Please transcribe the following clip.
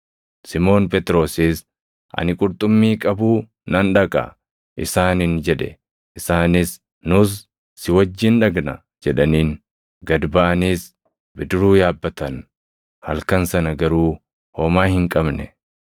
Simoon Phexrosis, “Ani qurxummii qabuu nan dhaqa” isaaniin jedhe; isaanis, “Nus si wajjin dhaqna” jedhaniin. Gad baʼaniis bidiruu yaabbatan; halkan sana garuu homaa hin qabne.